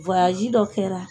dɔ kɛra.